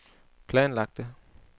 planlagte